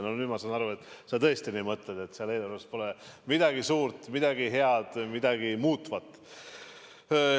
Nüüd ma saan aru, et sa tõesti nii mõtled, et eelarves pole midagi suurt, midagi head, midagi muutvat.